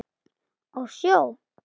Á sjó?